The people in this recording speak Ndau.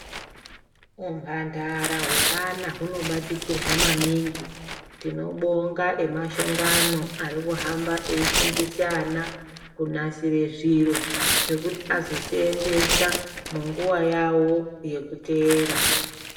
Humhandara hweana hunobatikirwa maningi, tinobonga emashongano arikuhamba eifundisa ana kunasire zviro zvekuti azo seenzesa munguva yavo yekuteera.